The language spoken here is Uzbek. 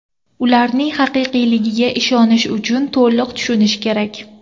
Ularning haqiqiyligiga ishonish uchun to‘liq tushunish kerak.